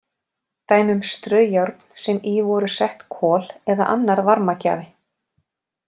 Dæmi um straujárn sem í voru sett kol eða annar varmagjafi.